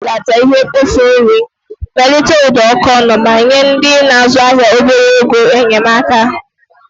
Anyị nwere ike ibelata ihe mkpofu nri, melite ụdọ ọkọnọ, ma nye ndị na-azụ ahịa obere ego enyemaka.